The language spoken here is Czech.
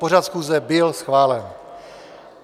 Pořad schůze byl schválen.